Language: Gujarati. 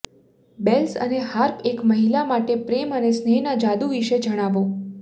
બેલ્સ અને હાર્પ એક મહિલા માટે પ્રેમ અને સ્નેહના જાદુ વિશે જણાવો